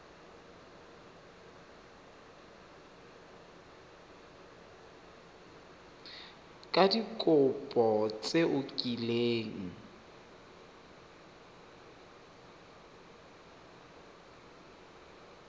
ka dikopo tse o kileng